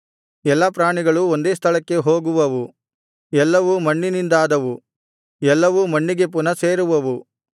ಎಲ್ಲಾ ಪ್ರಾಣಿಗಳು ಒಂದೇ ಸ್ಥಳಕ್ಕೆ ಹೋಗುವವು ಎಲ್ಲವು ಮಣ್ಣಿನಿಂದಾದವು ಎಲ್ಲವೂ ಮಣ್ಣಿಗೆ ಪುನಃ ಸೇರುವವು